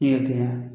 I y'a kɛ yan